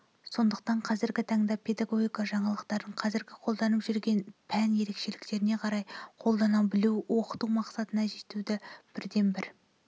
сондықтан қазіргі таңда педагогика жаңалықтарын қазіргі қолданып жүрген пән ерекшеліктеріне қарай қолдана білу оқыту мақсатына жетудің бірден бір